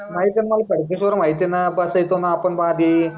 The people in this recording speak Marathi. माहितीये, खडकेश्वर माला माहितीये ना बसाईचो ना आपण आधी.